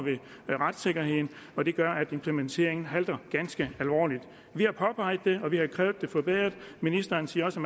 ved retssikkerheden og det gør at implementeringen halter ganske alvorligt vi har påpeget det og vi har krævet det forbedret ministeren siger også